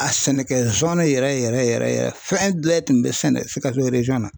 A sɛnɛkɛ yɛrɛ yɛrɛ yɛrɛ yɛrɛ fɛn bɛɛ tun bɛ sɛnɛ Sikaso na.